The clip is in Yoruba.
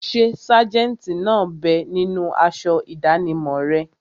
Ṣé sájẹ̀ntì náà bẹ ninú aṣọ ìdánimọ̀ rẹ̀?